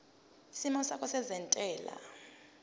isimo sakho sezentela